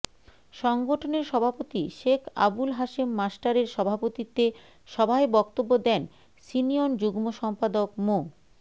সংগঠনের সভাপতি শেখ আবুল হাশেম মাস্টারের সভাপতিত্বে সভায় বক্তব্য দেন সিনিয়ন যুগ্ম সম্পাদক মো